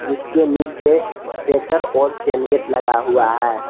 जिसके नीचे शेटर और चैन गेट लगा हुआ है।